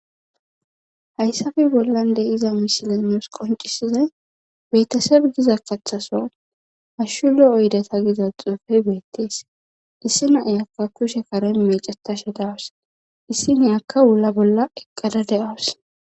Hayssafe bollan de iza mishile nuus qoncisizay beettesebgiza kaththaso ashshulo oyde ta giza xuufe beettees issi naiyakka kushe karen mecetashe dawus issi neyakka wulla bolla eqqada de7awus.